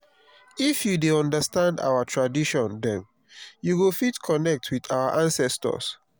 if you dey understand our tradition dem you go fit connect with our ancestors.